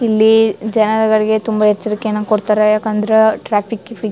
ಇಲ್ಲಿ ಜನಗಳಿಗೆ ತುಂಬಾ ಎಚ್ಚರಿಕೆಯನ್ನು ಕೊಡತ್ತರೆ ಯಾಕಂದ್ರ ಟ್ರಾಫಿಕ್ ಗೀಫಿಕ್ --